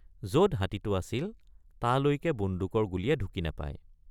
যত হাতীটো আছিল তালৈকে বন্দুকৰ গুলীয়ে ঢুকি নাপায়।